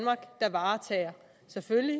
selvfølgelig